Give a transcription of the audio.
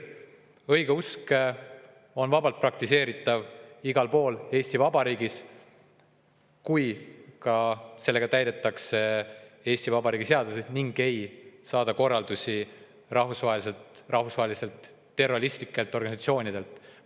Õigeusk on vabalt praktiseeritav igal pool Eesti Vabariigis, kui koos sellega täidetakse Eesti Vabariigi seadusi ning ei saada korraldusi rahvusvahelistelt terroristlikelt organisatsioonidelt.